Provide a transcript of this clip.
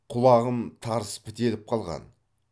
құлағым тарс бітеліп қалған